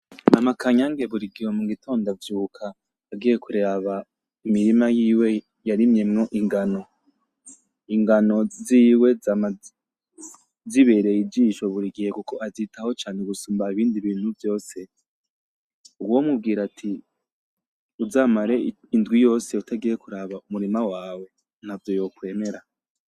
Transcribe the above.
Mama kanyange buri gihe mu gitondo avyuka agiye kuraba imirima yiwe yarimyemwo ingano, ingano ziwe zama zibereye ijisho burigihe kuko azitaho cane gusumba ibindi bintu vyose uwomubwira ati uzamare indwi yose utagiye kuraba umurima wawe ntavyo yokwemera.